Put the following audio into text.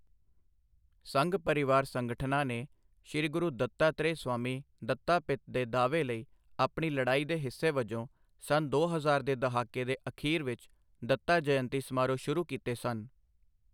ਸੰਘ ਪਰਿਵਾਰ ਸੰਗਠਨਾਂ ਨੇ 'ਸ੍ਰੀ ਗੁਰੂ ਦੱਤਾਤ੍ਰੇਅ ਸਵਾਮੀ ਦੱਤਾਪਿਤ' ਦੇ ਦਾਅਵੇ ਲਈ ਆਪਣੀ ਲੜਾਈ ਦੇ ਹਿੱਸੇ ਵਜੋਂ ਸੰਨ ਦੋ ਹਜ਼ਾਰ ਦੇ ਦਹਾਕੇ ਦੇ ਅਖੀਰ ਵਿੱਚ 'ਦੱਤਾ ਜਯੰਤੀ' ਸਮਾਰੋਹ ਸ਼ੁਰੂ ਕੀਤੇ ਸਨ।